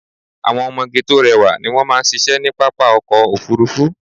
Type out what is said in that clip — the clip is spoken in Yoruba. Àwọn ọmọge tó rẹwà ni wón máa ṣíṣe ní pápá ọkọ̀ Òfurufú.